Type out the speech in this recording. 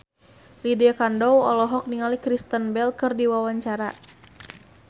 Lydia Kandou olohok ningali Kristen Bell keur diwawancara